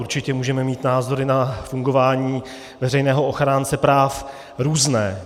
Určitě můžeme mít názory na fungování veřejného ochránce práv různé.